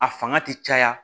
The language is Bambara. A fanga ti caya